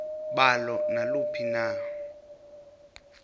balo naluphi na